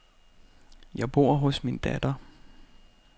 Jeg bor hos min datter.